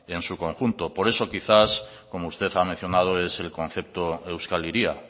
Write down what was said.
en su conjunto por eso quizás como usted ha mencionado es el concepto euskal hiria